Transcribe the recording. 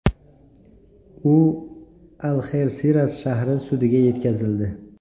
U Alxersiras shahri sudiga yetkazildi.